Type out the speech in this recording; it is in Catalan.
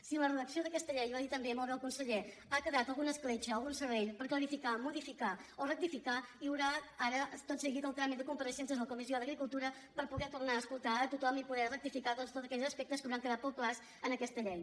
si en la redacció d’aquesta llei i ho ha dit també molt bé el conseller ha quedat alguna escletxa algun serrell per clarificar modificar o rectificar hi haurà ara tot seguit el tràmit de compareixences a la comissió d’agricultura per poder tornar a escoltar a tothom i poder rectificar doncs tots aquells aspectes que hauran quedat poc clars en aquesta llei